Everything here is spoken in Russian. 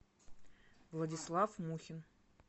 владислав мухин